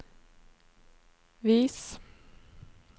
vis